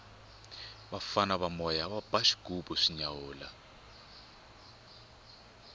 vafana va moya va ba xighubu swi nyawula